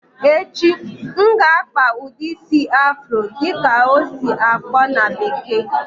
Echi, M ga akpa ụdị isi "Afro"dị ka ọ esi-akpọ na bekee